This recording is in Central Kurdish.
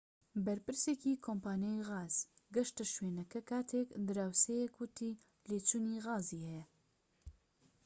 بەرپرسێکی کۆمپانیای غاز گەشتە شوێنەکە کاتێك دراوسێیەک وتی لێچوونی غازی هەیە